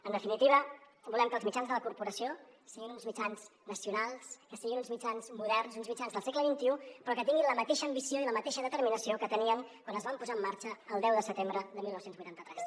en definitiva volem que els mitjans de la corporació siguin uns mitjans nacionals que siguin uns mitjans moderns uns mitjans del segle xxi però que tinguin la mateixa ambició i la mateixa determinació que tenien quan es van posar en marxa el deu de setembre de dinou vuitanta tres